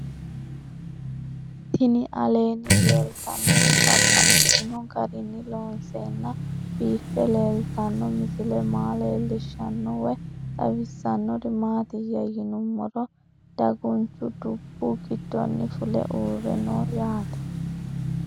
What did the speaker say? Tinni aleenni leelittannotti babaxxittinno garinni loonseenna biiffe leelittanno misile maa leelishshanno woy xawisannori maattiya yinummoro daguunchchu dubbu gidoonni fulle uurre noo yaatte